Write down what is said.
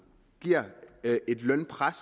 giver et lønpres